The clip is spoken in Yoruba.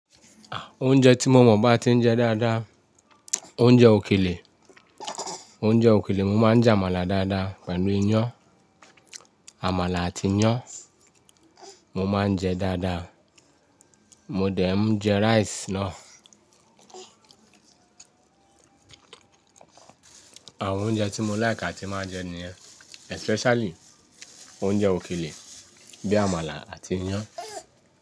Oúnjẹ tí mo mọ̀ bá ti ń jẹ dáadáa, oúnjẹ òkèlè. Oúnjẹ òkèlè, mo máa ń jẹ amala dáadáa pẹ̀lú iyán. Àmàlà àti iyán mo máa ń jẹ dáadáa. Mo dẹ̀ ń jẹ rice náà. Àwọn oúnjẹ tí mo láìk tí máa jẹ níyẹn, especially oúnjẹ òkèlè bíi àmàlà àti iyán.